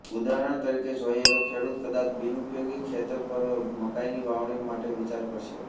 ઉદાહરણ તરીકે જોઈએ તો ખેડૂત કદાચ બિનઉપયોગી ખેતર પર મકાઈની વાવણી માટે વિચાર કરશે